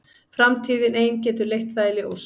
Framtíðin ein getur leitt það í ljós.